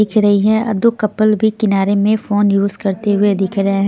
दिख रही है दो कपल भी किनारे में फोन यूज करते हुए दिख रहे हैं.